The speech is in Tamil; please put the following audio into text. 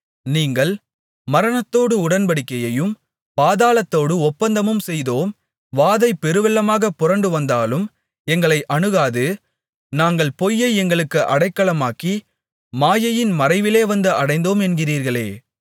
நீங்கள் மரணத்தோடு உடன்படிக்கையையும் பாதாளத்தோடு ஒப்பந்தமும் செய்தோம் வாதை பெருவெள்ளமாகப் புரண்டுவந்தாலும் எங்களை அணுகாது நாங்கள் பொய்யை எங்களுக்கு அடைக்கலமாக்கி மாயையின் மறைவிலே வந்து அடைந்தோம் என்கிறீர்களே